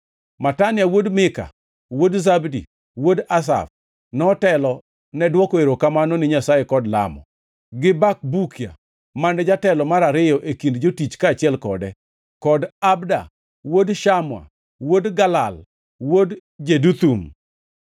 Matania wuod Mika, wuod Zabdi, wuod Asaf, notelo ne dwoko erokamano ni Nyasaye kod lamo; gi Bakbukia mane jatelo mar ariyo e kind jotich kaachiel kode; kod Abda wuod Shamua, wuod Galal, wuod Jeduthun.